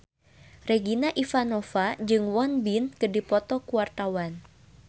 Regina Ivanova jeung Won Bin keur dipoto ku wartawan